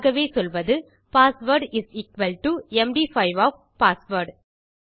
ஆகவே சொல்வது password is equal to M D five of password